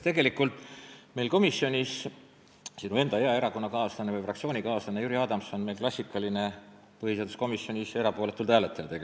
Tegelikult on sinu enda hea erakonna- ja fraktsioonikaaslane Jüri Adams klassikaline põhiseaduskomisjonis erapooletult hääletaja.